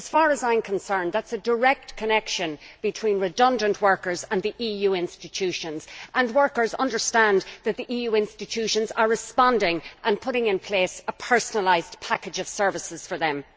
As far as I am concerned, that is a direct connection between redundant workers and the EU institutions, and workers understand that the EU institutions are responding and putting in place a personalised package of services for them.